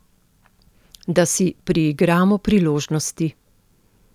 Da si priigramo priložnosti.